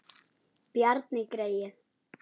Bjarni greyið!